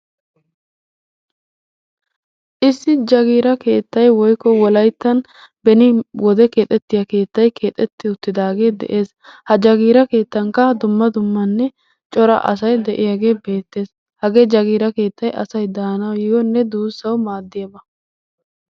Issi jagiira keettay woykko beni wode keexxeti uttidaagee dee'ees. Ha jagiiea keettan daro dumma dummanne cora asay de'iyaagee beetees. Hagee jagiira keettay asay daanawunne duussawu maadiyaabaa.